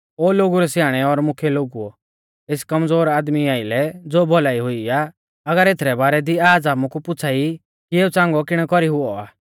ओ लोगु रै स्याणै और मुख्यै लोगुओ एस कमज़ोर आदमी आइलै ज़ो भौलाई हुई आ अगर एथरै बारै दी आज़ हामु कु पुछ़ा ई कि एऊ च़ांगौ किणै कौरी हुऔ आ